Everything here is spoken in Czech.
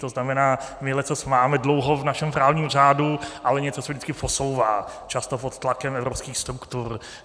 To znamená, my leccos máme dlouho v našem právním řádu, ale něco se vždycky posouvá, často pod tlakem evropských struktur.